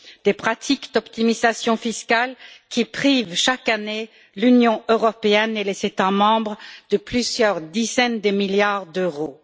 Ces pratiques d'optimisation fiscale privent chaque année l'Union européenne et les États membres de plusieurs dizaines de milliards d'euros.